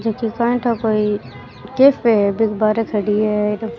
ये कैथा कोई कैफे है बाइक बाहेरे खड़ी है और --